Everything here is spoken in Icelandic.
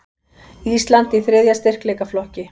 Ísland í þriðja styrkleikaflokki